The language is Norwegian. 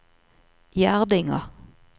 Gjerdinga